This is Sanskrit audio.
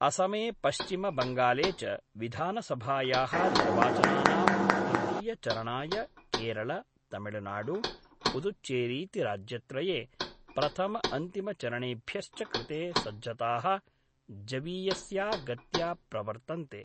असमे पश्चिमबंगाले च विधानसभायाः निर्वाचनानां तृतीयचरणाय केरल, तमिलनाडु, पुदुच्चेरीति राज्यत्रये प्रथमअंतिमचरणेभ्यश्च कृते सज्जताः जवीयस्या गत्या प्रवर्तन्ते।